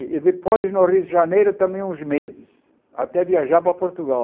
E depois no Rio de Janeiro também uns meses, até viajar para Portugal.